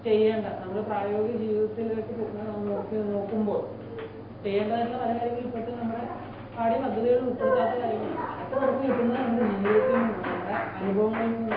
നമ്മൾ പ്രയോഗികജീവിതത്തിലേക്ക് നോക്കുമ്പോൾ ചെയ്യേണ്ടതായിട്ടുള്ള പല കാര്യങ്ങളും ഇപ്പോൾ തന്നെ നമ്മുടെ പാഠ്യപദ്ധതിയിൽ ഉൾപ്പെടുത്താതെ കാര്യങ്ങളാണ് . അതൊക്കെ കിട്ടുന്നത് നമ്മുടെ ജീവിതത്തിൽ നിന്നാണ് നമ്മുടെ അനുഭവങ്ങളിൽ നിന്നാണ്